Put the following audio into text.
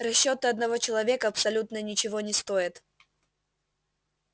расчёты одного человека абсолютно ничего не стоят